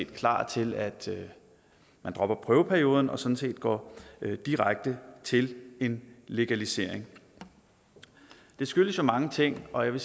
klar til at man dropper prøveperioden og sådan set går direkte til en legalisering det skyldes jo mange ting og jeg